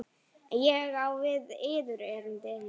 Ég á við yður erindi.